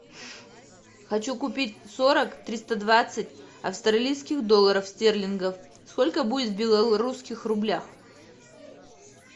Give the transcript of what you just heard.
хочу купить сорок триста двадцать австралийских долларов стерлингов сколько будет в белорусских рублях